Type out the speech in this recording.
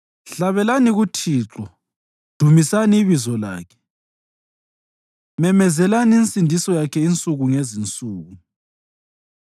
Hlabelani kuThixo, dumisani ibizo lakhe; memezelani insindiso yakhe insuku ngezinsuku.